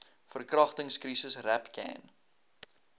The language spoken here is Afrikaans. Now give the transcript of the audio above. verkragtings krisis rapcan